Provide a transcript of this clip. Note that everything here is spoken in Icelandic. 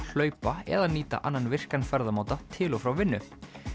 hlaupa eða nýta annan virkan ferðamáta til og frá vinnu